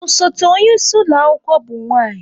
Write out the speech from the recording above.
Osote onye isi ụlọ akwụkwọ bụ nwanyị.